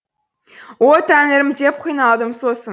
о тәңірім деп қиналдым сосын